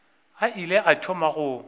a ile a thoma go